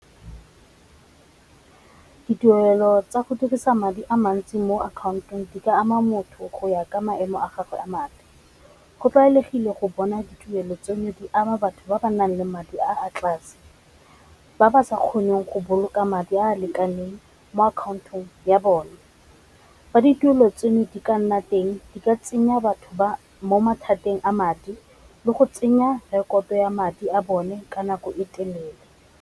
Ditirelo tsa go dirisa madi a mantsi mo akhaontong di ka ama motho go ya ka maemo a gagwe a madi, go tlwaelegile go bona dituelo tsone di ama batho ba ba nang le madi a tlase ba ba sa kgoneng go boloka madi a a lekaneng mo akhaontong ya bone, fa ditirelo tseno di ka nna teng di ka tsenya batho ba mo mathateng a madi le go tsenya rekoto ya madi a bone ka nako e telele.